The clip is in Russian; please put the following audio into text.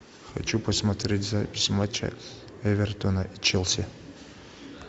хочу посмотреть запись матча эвертона и челси